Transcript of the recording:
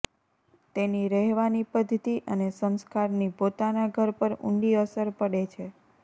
તેની રહેવાની પદ્ધતિ અને સંસ્કારની પોતાના ઘર પર ઊંડી અસર પડે છે